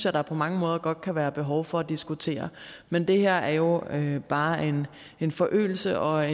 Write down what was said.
at der på mange måder godt kan være behov for at diskutere men det her er jo er jo bare en en forøgelse og